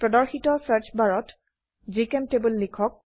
প্ৰদৰ্শিত সাৰ্চ বাৰত জিচেম্টেবল লিখক